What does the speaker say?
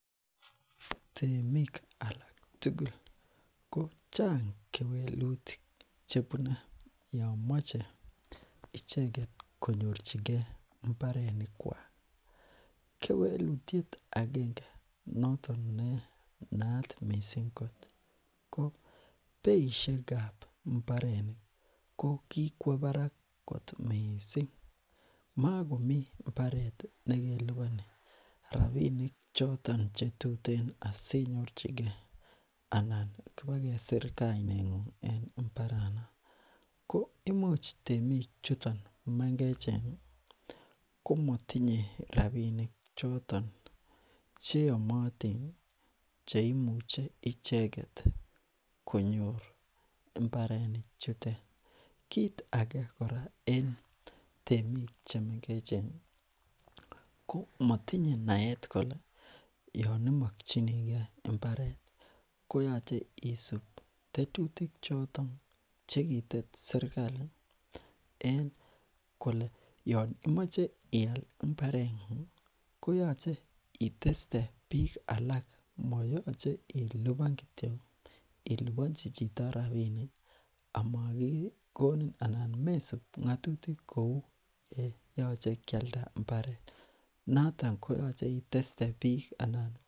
temik alak tugul ko chang kewelutik chebune yoon moche icheket konyorchikee mbarenikwak kewelutiet agenge notok ne naat mising ko beishekab ko kikwo barak kot mising mokomi mbareti nekeliponi rapinik choton chetuten asinyorchikee anan ipak kesir kainengung en mbaranon ko imuch temichuto mengechen komotinye rapinichoton cheomotini cheimuche icheket konyor mbareni chutet kit ake kora en temik chemengecheni ko motinye naet kole yoon imokyinikee mbaret koyoche isup tetutik choton chekitet serkali en kole yoon imoche ial mbarengungi koyoche iteste biik alak moyoche ilipan kityok anan iliponchi chito rapinik amokikonin anan mesup ngotutik kou yeyoche kialda mbaret noton koyoche iteste biik anan